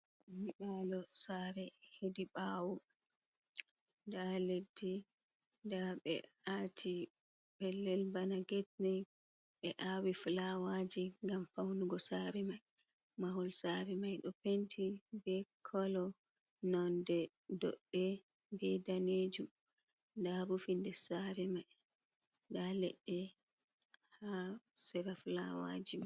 Nyebaalo saare he ɗi ɓaawo, nda leɗɗi, nda ɓe a'ti pellel bana gat, nden ɓe a'wii filawaaji ngam faunugo saare mai, mahol saare mai ɗo penti be kolo nonde doɗɗe be daneejum, nda bo fi des sare mai nda leɗɗe haa sera filawaaji mai.